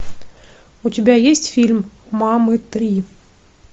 у тебя есть фильм мамы три